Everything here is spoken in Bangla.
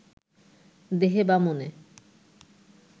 দেহে বা মনে